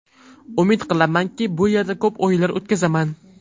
Umid qilamanki, bu yerda ko‘p o‘yinlar o‘tkazaman.